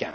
2015.